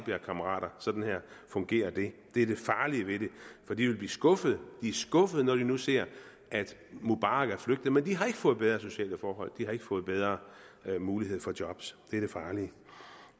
jer kammerater og sådan fungerer det det er det farlige ved det for de vil blive skuffet de er skuffede når de nu ser at mubarak er flygtet men de har ikke fået bedre sociale forhold de har ikke fået bedre mulighed for job